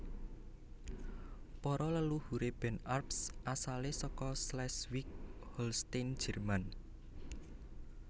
Para leluhuré Ben Arps asalé saka Schleswig Holstein Jèrman